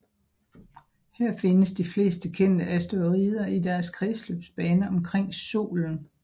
Her findes de fleste kendte asteroider i deres kredsløbsbaner omkring Solen